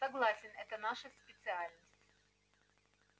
согласен это наша специальность